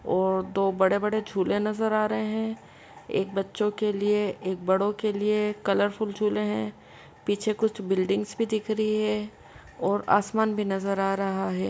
और दो बड़े-बड़े झूले नजर आ रहें हैं। एक बच्चों के लिए एक बड़ों के लिए कलरफुल झूले हैं। पीछे कुछ बिल्डिंग्स भी दिख रही है और आसमान भी नजर आ रहा है।